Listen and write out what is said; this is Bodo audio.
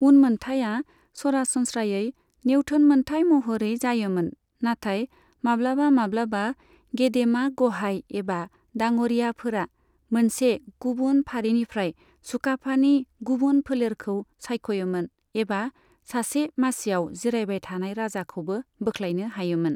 उनमोन्थाया सरासनस्रायै नेवथोन मोनथाय महरै जायोमोन, नाथाय माब्लाबा माब्लाबा गेदेमा गहाइ एबा डाङ'रियाफोरा मोनसे गुबुन फारिनिफ्राय सुकाफानि गुबुन फोलेरखौ सायख'योमोन एबा सासे मासिआव जिरायबाय थानाय राजाखौबो बोख्लायनो हायोमोन।